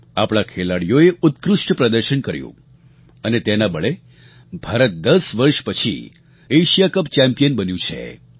આપણા ખેલાડીઓએ ઉત્કૃષ્ટ પ્રદર્શન કર્યું અને તેના બળે ભારત દસ વર્ષ પછી એશિયા કપ ચેમ્પિયન બન્યું છે